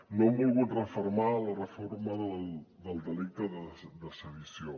no han volgut refermar la reforma del delicte de sedició